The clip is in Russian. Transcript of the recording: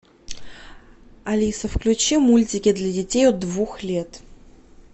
алиса включи мультики для детей от двух лет